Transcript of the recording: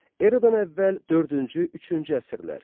Eradan əvvəl dördüncü, üçüncü əsrlər.